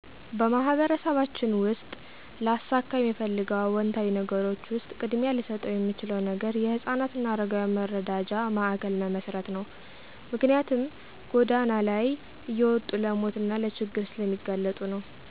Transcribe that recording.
በማህበረሰባችን ውስጥ ላሳካ የምፈልገው አወንታዊ ነገሮች ውሰጥ ቅድሚያ ልሰጠው የምችለው ነገር የህፃናት አና የአረጋውያን መረጃ ማእከል መመሰረት ነው። ምክንያትም ጎዳና ላይ እየወጡ ለሞት አና ለችግር ስለሚጋለጡ ነው።